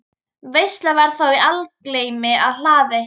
Veisla var þá í algleymi á hlaði.